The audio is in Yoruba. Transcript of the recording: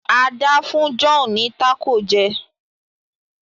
Ada fún John ní Taco jé